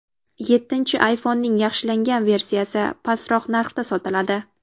Yettinchi ayfonning yaxshilangan versiyasi pastroq narxda sotiladi.